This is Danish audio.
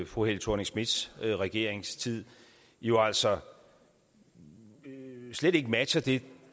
fru helle thorning schmidts regeringstid jo altså slet ikke matcher det